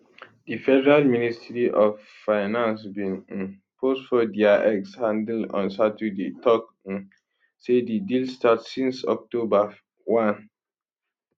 di federal ministry of financebin um post for dia x handleon saturday tok um say di deal start since october 1